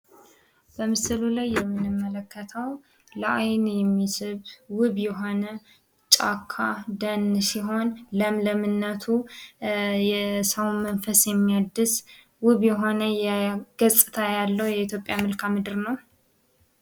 በምስሉ ላይ የምንመለከተው ለአይን የሚስብ ዉብ የሆነ ጫካ ደን ሲሆን ፤ ለምለምነቱ የሰውን መንፈስን የሚያድስ ዉብ የሆነ ገጽታ ያለው የኢትዮጵያ መልከአ ምድር ነው።